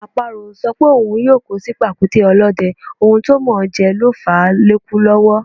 Àparò ò sọ pé òun yóò kó sí pàkúté ọlọ́dẹ, ohun tó mọ̀ọ́ jẹ ló fàá lékú lọ́wọ́.